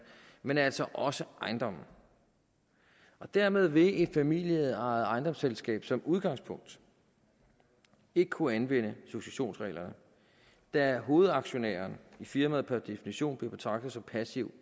men altså også ejendomme dermed vil et familieejet ejendomsselskab som udgangspunkt ikke kunne anvende successionsreglerne da hovedaktiviteten i firmaet per definition bliver betragtet som passiv